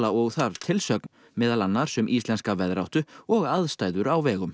og þarf tilsögn meðal annars um íslenska veðráttu og aðstæður á vegum